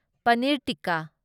ꯄꯅꯤꯔ ꯇꯤꯛꯀꯥ